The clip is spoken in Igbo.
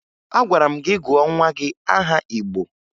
Agwara m gị gụọ nwa gị aha Igbo!